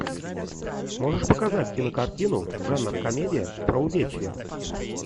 можешь показать кинокартину жанр комедия про увечья